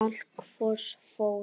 Kalk Fosfór